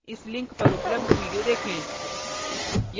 इस लिंक पर उपलब्ध video देखें